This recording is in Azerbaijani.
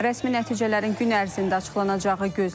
Rəsmi nəticələrin gün ərzində açıqlanacağı gözlənilir.